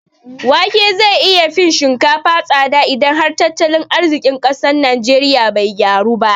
Wake zai iya fin shinkafa tsada idan har tattalin arziƙin ƙasar najeriya bai gyaru ba